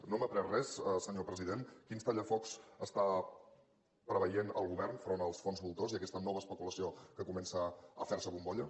no hem après res senyor president quins tallafocs està preveient el govern enfront dels fons voltors i aquesta nova especulació que comença a fer se bombolla